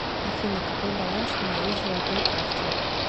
афина какой баланс на моей золотой карте